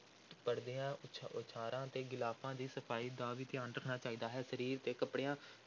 ਪਰਦਿਆਂ, ਉਛ ਉਛਾੜਾਂ ਤੇ ਗਿਲਾਫ਼ਾਂ ਦੀ ਸਫ਼ਾਈ ਦਾ ਵੀ ਧਿਆਨ ਰੱਖਣਾ ਚਾਹੀਦਾ ਹੈ, ਸਰੀਰ ਦੇ ਕੱਪੜਿਆਂ